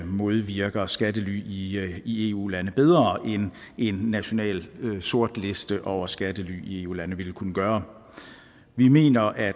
modvirker skattely i eu lande bedre end en national sortliste over skattely i eu lande ville kunne gøre vi mener at